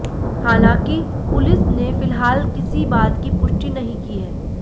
हालांकि पुलिस ने फिलहाल किसी बात की पुष्टि नहीं की है